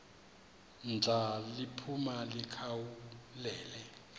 ndla liphuma likhawulele